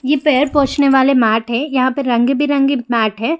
ये पैर पोछने वाले मैट है यहाँ पे रंग-बिरंगी मैट है।